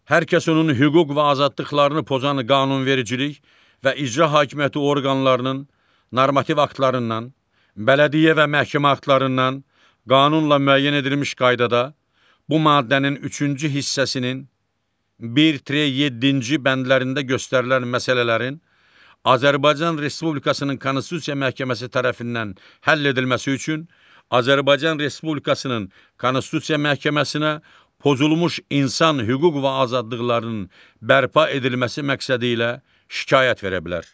Hər kəs onun hüquq və azadlıqlarını pozan qanunvericilik və icra hakimiyyəti orqanlarının normativ aktlarından, bələdiyyə və məhkəmə aktlarından, qanunla müəyyən edilmiş qaydada bu maddənin üçüncü hissəsinin bir 7-ci bəndlərində göstərilən məsələlərin Azərbaycan Respublikasının Konstitusiya Məhkəməsi tərəfindən həll edilməsi üçün Azərbaycan Respublikasının Konstitusiya Məhkəməsinə pozulmuş insan hüquq və azadlıqlarının bərpa edilməsi məqsədilə şikayət verə bilər.